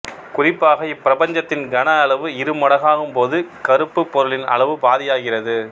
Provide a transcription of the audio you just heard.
குறிப்பாக இப்பிரபஞ்சத்தின் கனஅளவு இருமடங்காகும் போது கறுப்பு பொருளின் அளவு பாதியாகிறது